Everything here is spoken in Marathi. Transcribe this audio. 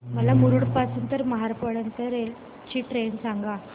मला मुरुड पासून तर महाड पर्यंत ची ट्रेन सांगा